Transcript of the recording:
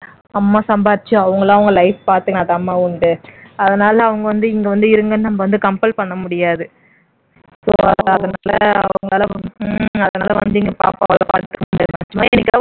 அம்மா சம்பாதிச்சு அவங்களா அவங்க life பாத்துக்கிட்டாத்தான்மா உண்டு. அத்னால அவங்க வந்து இங்க வந்து இருங்கன்னு நம்ம வந்து compel பண்ண முடியாது so அதனால அவங்களால அவங்களால வந்து இங்க பாப்பாவலாம் பாத்துக்க முடியாதும்மா சும்மா என்னைக்காவது